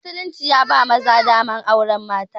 Musulunci ya ba maza damar auren mata huɗu